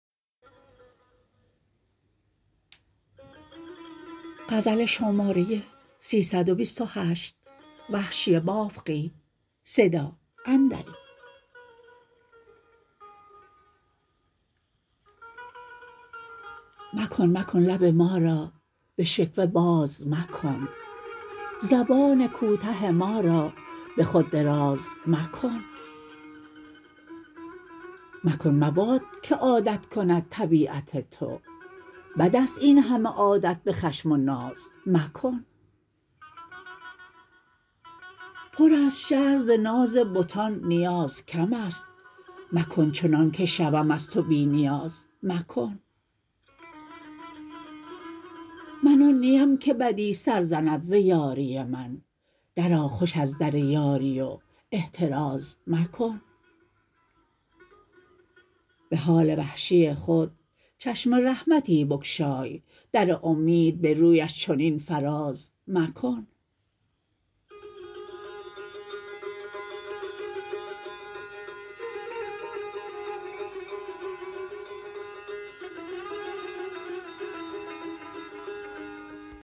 مکن مکن لب مارا به شکوه باز مکن زبان کوته ما را به خود دراز مکن مکن مباد که عادت کند طبیعت تو بد است این همه عادت به خشم و ناز مکن پر است شهر ز ناز بتان نیاز کم است مکن چنانکه شوم از تو بی نیاز مکن من آن نیم که بدی سر زند ز یاری من درآ خوش از در یاری و احتراز مکن به حال وحشی خود چشم رحمتی بگشای در امید به رویش چنین فراز مکن